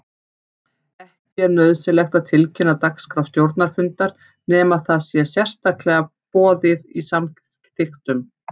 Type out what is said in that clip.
Ekki er nauðsynlegt að tilkynna dagskrá stjórnarfundar nema það sé sérstaklega boðið í samþykktum.